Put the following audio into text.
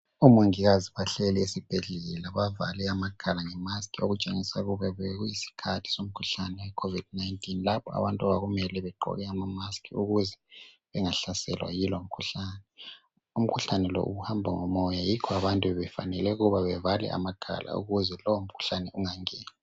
Omongikazi bahleli esibhedlela bavale amakhala ngemask okutshengisa ukuba bekuyisikhathi somkhuhlane weCovid 19 lapha abantu okwakumele begqoke amamask ukuze bengahlaselwa yilowo mkhuhlane. Umkhuhlane lo uhamba lomoya yikho abantu befanele ukuba bevale amakhala ukuze lowo mkhuhlane ungangeni.